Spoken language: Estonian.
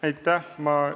Aitäh!